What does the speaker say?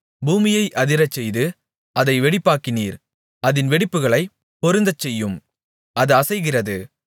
பூமியை அதிரச்செய்து அதை வெடிப்பாக்கினீர் அதின் வெடிப்புகளைப் பொருந்தச்செய்யும் அது அசைகிறது